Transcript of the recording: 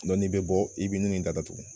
n'i bɛ bɔ i bɛ nin da datugu